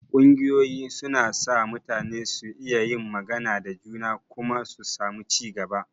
Ƙungiyoyi suna sa mutane su iya yin magana da juna kuma su samu ci gaba.